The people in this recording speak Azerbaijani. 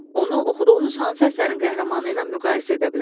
Onu oxuduğunuz hansı əsərin qəhrəmanı ilə müqayisə edə bilərsiz?